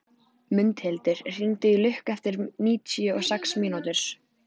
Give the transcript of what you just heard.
Mundhildur, hringdu í Lukku eftir níutíu og sex mínútur.